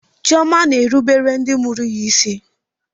Chioma na-erubere ndị mụrụ ya isi.